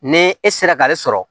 Ni e sera k'ale sɔrɔ